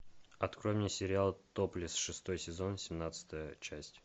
открой мне сериал топлесс шестой сезон семнадцатая часть